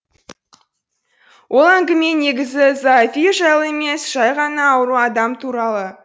ол әңгіме негізі зоофил жайлы емес жай ғана ауру адам туралы